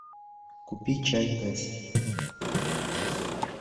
купи чай тесс